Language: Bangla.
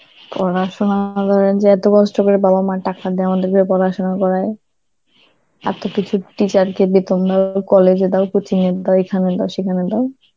পড়াশোনা যে এত কষ্ট করে বাবা মা টাকা দেওয়া পড়াশোনা করায়, আর তো কিছু~ teacher কে বেতন দাও, college এ দাও, coaching এ দাও, এখানে দাও সেখানে দাও,